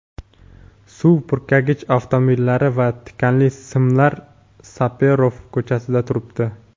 suv purkagich avtomobillari va tikanli simlar Saperov ko‘chasida turibdi.